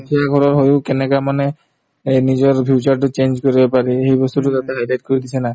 দুখীয়া ঘৰৰ হৈয়ো কেনেকুৱা মানে এহ্ নিজৰ future তো change কৰিব পাৰি সেই বস্তুতো তাতে high light কৰি দিছে না